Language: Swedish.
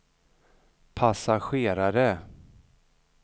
passagerare